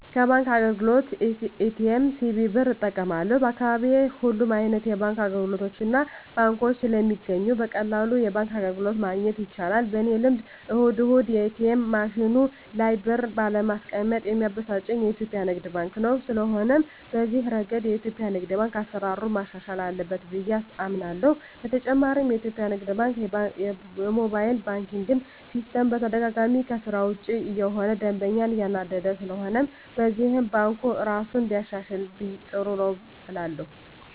ከባንክ አገልግሎት ኤ.ቲ.ኤም፣ ሲቪ ብር እጠቀማለሁ፣ በአካባቢየ ሁሉም አይነት የባንክ አገልግሎቶችና ባንኮች ስለሚገኙ በቀላሉ የባንክ አገልግሎት ማግኘት ይቻላል። በኔ ልምድ እሁድ እሁድ የኤትኤም ማሽኑ ላይ ብር ባለማስቀመጥ ሚያበሳጨኝ የኢትዮጲያ ንግድ ባንክ ነው። ስለሆነም በዚህ እረገድ የኢትዮጲያ ንግድ ባንክ አሰራሩን ማሻሻል አለበት ብየ አምናለሆ። በተጨማሪም የኢትዮጲያ ንግድ ባንክ የሞባይል ባንኪን ሲስተም በተደጋጋሚ ከስራ ውጭ እየሆነ ደንበኛን እያናደደ ስለሆነም በዚህም ባንኩ እራሱን ቢያሻሽል ጥሩ ነው እላለሁ።